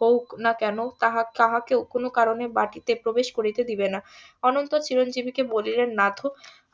হউক না কেন তাহা~ তাহাকে কোনো কারণে বাটিতে প্রবেশ করিতে দিবে না অনন্ত চিরঞ্জিব কে বলিলেন .